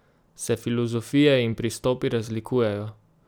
Se filozofije in pristopi razlikujejo?